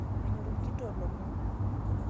Menyor nkito lomon